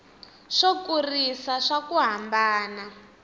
swo kurisa swa ku hambana